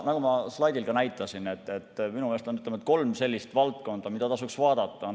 Nagu ma slaidil ka näitasin, minu meelest on kolm sellist valdkonda, mida tasuks vaadata.